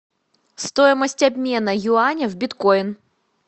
стоимость обмена юаня в биткоин